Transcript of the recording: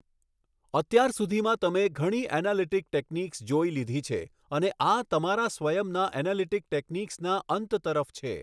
અત્યાર સુધીમાં તમે ઘણી એનાલિટિક ટેક્નિક્સ જોઈ લીધી છે અને આ તમારા સ્વયંના એનાલિટિક ટેક્નિક્સના અંત તરફ છે.